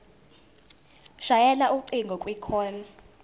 shayela ucingo kwicall